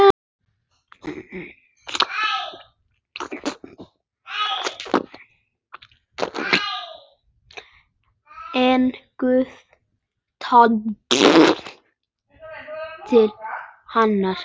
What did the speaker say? En Guð talaði til hennar.